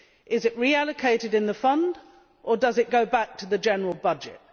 Is it reallocated within the Fund or does it go back to the general budget?